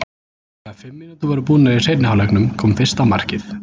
Þegar fimm mínútur voru búnar í seinni hálfleiknum kom fyrsta markið.